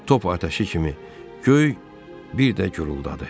Top atəşi kimi göy bir də guruldadı.